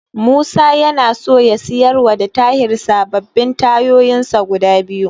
Musa yana so ya siyarwa da Tahir sababbin tayoyinsa guda biyu.